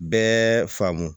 Bɛɛ faamu